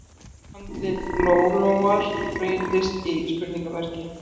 Andlit Lólóar breytist í spurningarmerki